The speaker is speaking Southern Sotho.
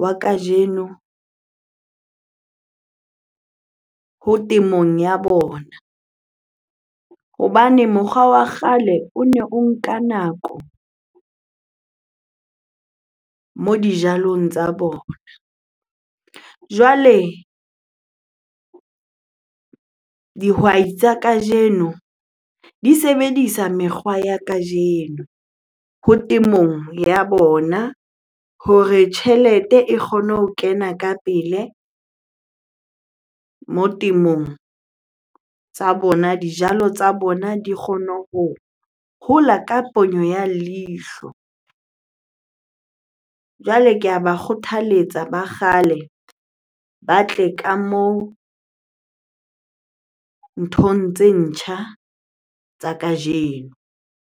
wa kajeno ho temong ya bona. Hobane mokgwa wa kgale one o nka nako moo dijalong tsa bona. Jwale dihwai tsa kajeno di sebedisa mekgwa ya kajeno ho temong ya bona hore tjhelete e kgone ho kena ka pele moo temong tsa bona. Dijalo tsa bona di kgone ho hola ka ponyo ya leihlo. Jwale ke a ba kgothaletsa ba kgale ba tle ka moo nthong tse ntjha tsa kajeno.